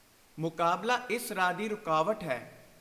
ਮੁਕਾਬਲਾ ਇਸ ਰਾਹ ਦੀ ਰੁਕਾਵਟ ਹੈ।